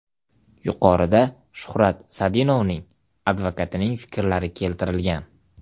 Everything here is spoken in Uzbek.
Yuqorida Shuhrat Sadinovning advokatining fikrlari keltirilgan.